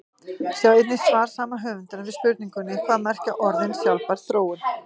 Sjá einnig svar sama höfundar við spurningunni Hvað merkja orðin sjálfbær þróun?